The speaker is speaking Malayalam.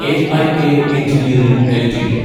AIA engineering LTD